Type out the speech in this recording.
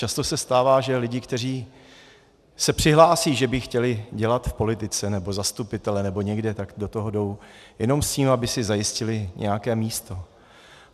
Často se stává, že lidé, kteří se přihlásí, že by chtěli dělat v politice nebo zastupitele nebo někde, tak do toho jdou jenom s tím, aby si zajistili nějaké místo.